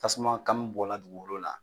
Tasumakami bɔla dugukolo la.